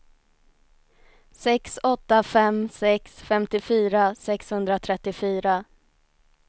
sex åtta fem sex femtiofyra sexhundratrettiofyra